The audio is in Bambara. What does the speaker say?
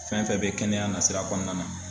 Fɛn fɛn bɛ kɛnɛya nasira kɔnɔna na.